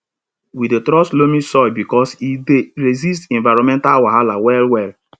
we dey trust loamy soil because e dey resist environmental wahala well well